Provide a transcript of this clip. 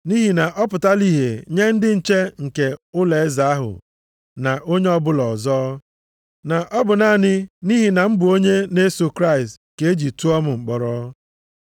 Nʼihi na ọ pụtala ihe nye ndị nche nke ụlọeze ahụ na onye ọbụla ọzọ, na ọ bụ naanị nʼihi na m bụ onye na-eso Kraịst ka e ji tụọ m mkpọrọ.